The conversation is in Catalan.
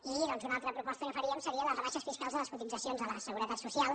i una altra proposta que faríem seria les rebaixes fiscals a les cotitzacions a la seguretat social